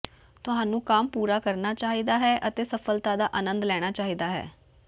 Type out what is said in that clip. ਤੁਹਾਨੂੰ ਕੰਮ ਪੂਰਾ ਕਰਨਾ ਚਾਹੀਦਾ ਹੈ ਅਤੇ ਸਫ਼ਲਤਾ ਦਾ ਅਨੰਦ ਲੈਣਾ ਚਾਹੀਦਾ ਹੈ